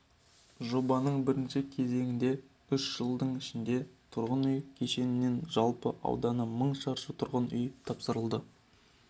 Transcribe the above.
жобаның бірінші кезеңінде үш жылдың ішінде тұрғын үй кешенінде жалпы ауданы мың шаршы тұрғын үй тапсырылды